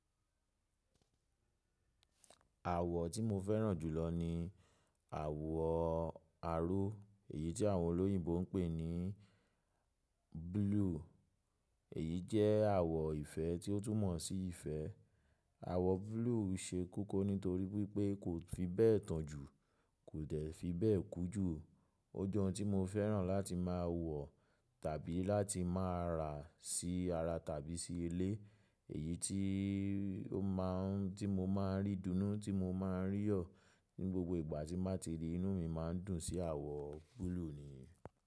Àwọ̀ tí mo fẹ́ràn jùlọ ní àwọ̀ aro Èyí tí àwọn olóyìnbo ń pè ní blue. Èyí jẹ́ àwọ ìfẹ́ tí ó tún mọ̀ sí ìfẹ́. Àwọ̀ blue ṣe koko nítorí wípé kò fi bẹ́ẹ̀ tàn jù, kò dẹ̀ fi bẹ́ẹ̀ kú jù. O jẹ́ ohun tí mo fẹ́ràn láti máa wọ̀ tàbí láti máa rà sí ara tàbí sí ilé. Èyí tí ó má a n tí mo máa ń rí dùnnú tí mo máa ń rí yọ̀ ní gbogbo ìgbà tí n bà ti rí inú mi má ń dùn sí àwọ̀ blue ni.